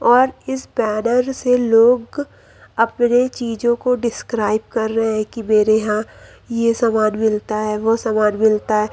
और इस बैनर से लोग अपने चीजों को डिस्क्राइब कर रहे हैं कि मेरे यहां ये सामान मिलता है वो सामान मिलता है।